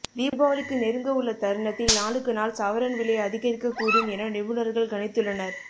தீபாவளிக்கு நெருங்க உள்ள தருணத்தில் நாளுக்கு நாள் சவரன் விலை அதிகரிக்க கூடும் என நிபுணர்கள் கணித்துள்ளனர்